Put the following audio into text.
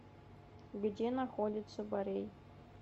где находится борей